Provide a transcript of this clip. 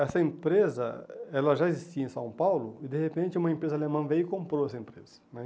Essa empresa ela já existia em São Paulo e, de repente, uma empresa alemã veio e comprou essa empresa né.